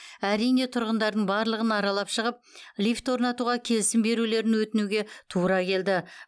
әрине тұрғындардың барлығын аралап шығып лифт орнатуға келісім берулерін өтінуге тура келді